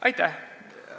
Aitäh!